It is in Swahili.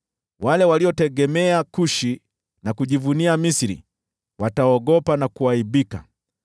Wale waliotegemea Kushi na kujivunia Misri wataogopa na kuaibika.